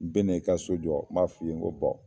N bɛna i ka so jɔ n b'a f'i yen n ko